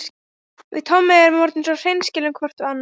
Við Tommi erum orðin svo hreinskilin hvort við annað.